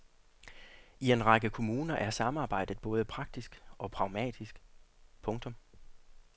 I en række kommuner er samarbejdet både praktisk og pragmatisk. punktum